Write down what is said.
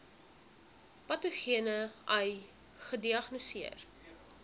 patogene ai gediagnoseer